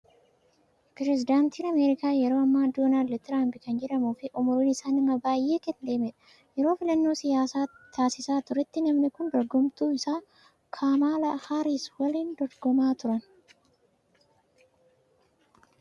Pirezedaantiin Ameerikaa yeroo ammaa Doonaald Tiraamp kan jedhamuu fi umriin isaa nama baay'ee kan deemedha. Yeroo filannoo siyaasaa taasisaa turetti namni kun dorgomtuu isaa Kamaalaa Haariis waliin wal dorgomaa turan.